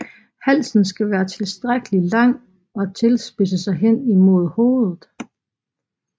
Halsen skal være tilstrækkelig lang og tilspidse sig hen imod hovedet